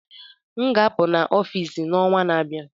M ga-apụ na Ofịịsi n'ọnwa na-abịa